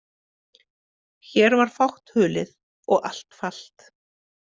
Hér var fátt hulið og allt falt.